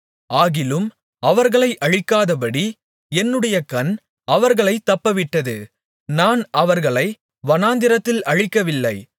ஆகிலும் அவர்களை அழிக்காதபடி என்னுடைய கண் அவர்களைத் தப்பவிட்டது நான் அவர்களை வனாந்திரத்தில் அழிக்கவில்லை